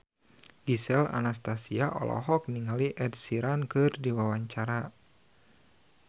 Gisel Anastasia olohok ningali Ed Sheeran keur diwawancara